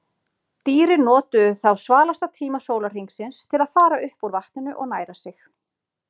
Dýrin notuðu þá svalasta tíma sólarhringsins til að fara upp úr vatninu og næra sig.